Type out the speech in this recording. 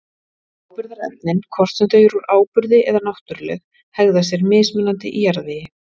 Áburðarefnin, hvort sem þau eru úr áburði eða náttúruleg, hegða sér mismunandi í jarðvegi.